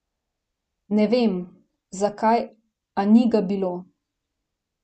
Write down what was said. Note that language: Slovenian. Ne vem, zakaj, a ni ga bilo.